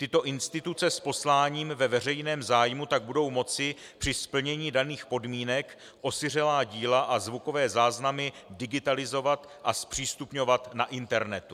Tyto instituce s posláním ve veřejném zájmu tak budou moci při splnění daných podmínek osiřelá díla a zvukové záznamy digitalizovat a zpřístupňovat na internetu.